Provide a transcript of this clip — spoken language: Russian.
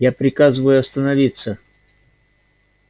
я приказываю остановиться